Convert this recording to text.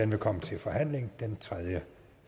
vil komme til forhandling den tredje